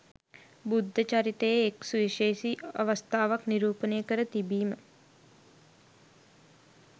බුද්ධ චරිතයේ එක් සුවිශේෂී අවස්ථාවක් නිරූපණය කර තිබීම